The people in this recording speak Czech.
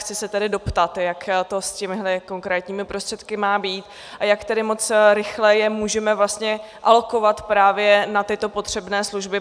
Chci se tedy doptat, jak to s těmito konkrétními prostředky má být a jak tedy moc rychle je můžeme vlastně alokovat právě na tyto potřebné služby.